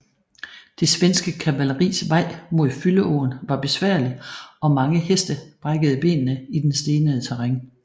Det svenske kavalleris vej mod Fylleåen var besværlig og mange heste brækkede benene i den stenede terræn